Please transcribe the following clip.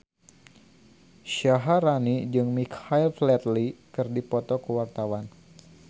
Syaharani jeung Michael Flatley keur dipoto ku wartawan